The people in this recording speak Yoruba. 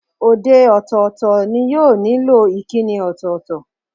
Òdè ọ̀tọ̀ọ̀tọ̀ ni yóò nílò ìkíni ọ̀tọ̀ọ̀tọ̀.